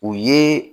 O ye